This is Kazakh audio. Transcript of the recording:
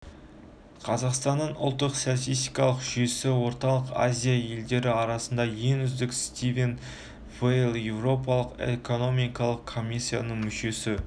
қазақстанның ұлттық статистикалық жүйесі орталық азия елдері арасында ең үздігі стивен вэйл еуропалық экономикалық комиссиясының мүшесі